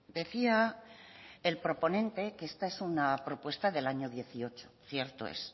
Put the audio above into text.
decía el proponente que esta es una propuesta del año dieciocho cierto es